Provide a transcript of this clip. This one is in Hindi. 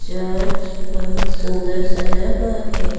चर्च बहुत सुंदर सजा हुआ है।